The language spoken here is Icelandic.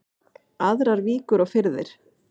Aðrar víkur og firðir